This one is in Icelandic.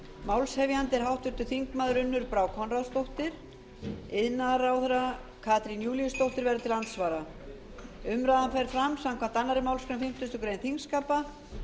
málshefjandi er háttvirtur þingmaður unnur brá konráðsdóttir iðnaðarráðherra katrín júlíusdóttir verður til andsvara umræða fer fram samkvæmt annarri málsgrein fimmtugustu grein þingskapa